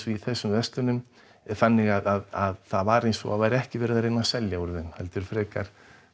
í þessum verslunum þannig að það var eins og það væri ekki verið að reyna að selja úr þeim heldur frekar